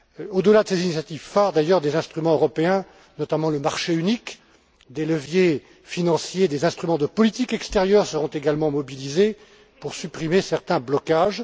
Au delà de ces initiatives phare, des instruments européens, notamment le marché unique, des leviers financiers, des instruments de politique extérieure seront également mobilisés pour supprimer certains blocages.